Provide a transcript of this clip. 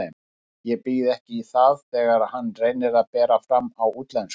Ég býð ekki í það þegar hann reynir að bera fram á útlensku.